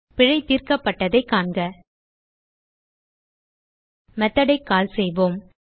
பிழை தீர்க்கப்பட்டதைக் காண்க மெத்தோட் ஐ கால் செய்வோம்